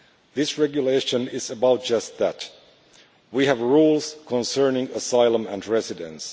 This regulation is about just that we have rules concerning asylum and residents.